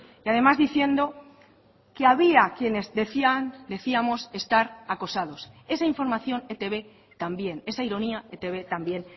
y además diciendo que había quienes decían decíamos estar acosados esa información etb también esa ironía etb también